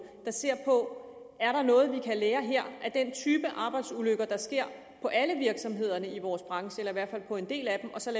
der ser på er der noget vi kan lære her af den type arbejdsulykker der sker på alle virksomhederne i vores branche eller i hvert fald på en del af dem og så